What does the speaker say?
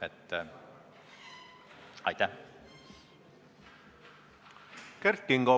Kert Kingo, palun!